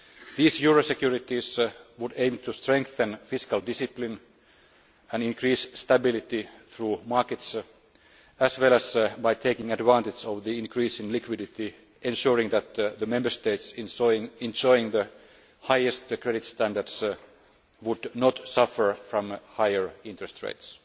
Regulation. These euro securities would aim to strengthen fiscal discipline and increase stability through markets as well as, by taking advantage of the increase in liquidity, ensuring that the Member States enjoying the highest credit standards would not suffer from higher interest